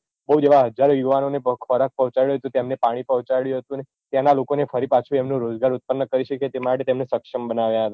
બૌ જ એવાં હજારો યુવાનોને ખોરાક પોહચાડ્યો હતો તેમને પાણી પોહ્ચાડ્યું હતું ત્યાંના લોકોને ફરી પાછું એમનું રોજગાર ઉત્પનન કરી શકે તે માટે તેમને સક્ષમ બનાવ્યાં હતાં